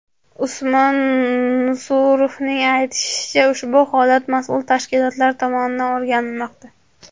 Usmon Nusurovning aytishicha, ushbu holat mas’ul tashkilotlar tomonidan o‘rganilmoqda.